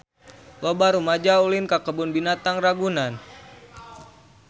Loba rumaja ulin ka Kebun Binatang Ragunan